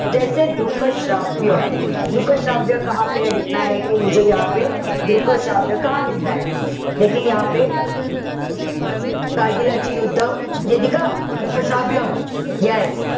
दृक श्राव्य. दृक श्राव्य कारगिलची युद्ध दृक श्राव्य. Yes.